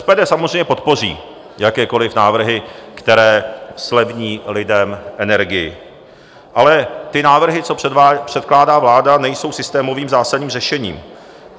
SPD samozřejmě podpoří jakékoliv návrhy, které zlevní lidem energii, ale ty návrhy, co předkládá vláda, nejsou systémovým zásadním řešením.